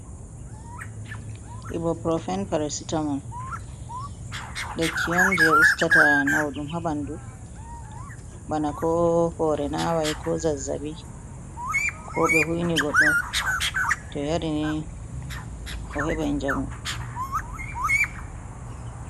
Ibo profen parasitamol, likki on je ustata nauɗum ha b ɓandu, bana ko hore nawai, ko zazzabi, ko be hui ni goɗɗo to yari ni o heben njamu.